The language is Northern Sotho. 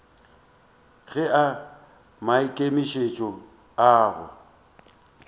ga a maikemišetšong a go